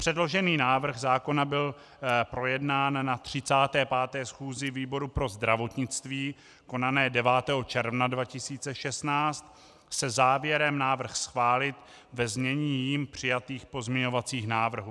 Předložený návrh zákona byl projednán na 35. schůzi výboru pro zdravotnictví konané 9. června 2016 se závěrem návrh schválit ve znění jím přijatých pozměňovacích návrhů.